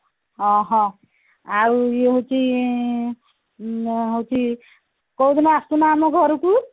ଅହ ଆଉ ଇଏ ହଉଛି ଇଏ ହଉଛି କୋଉ ଦିନ ଆସୁନ ଆମ ଘରକୁ